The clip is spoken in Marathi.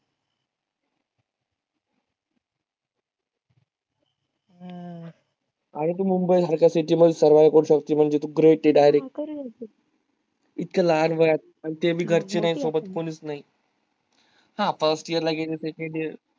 हम्म अगं तू mumbai सारख्य city मधे survive करू शकतेस म्हंजी तू great आहे direct इतक्य लहान वयात आनी ते भी घरचे नाही सोबत कोणीच नाही हा first year ला गेलीस .